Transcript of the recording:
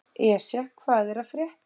Esja, hvað er að frétta?